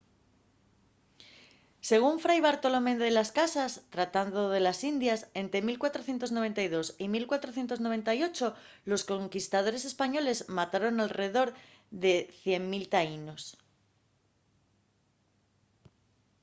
según fray bartolomé de las casas tratado de las indias ente 1492 y 1498 los conquistadores españoles mataron alredor de 100,000 taínos